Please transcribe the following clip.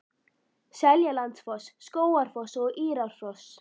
Seljalandsfoss, Skógafoss og Írárfoss.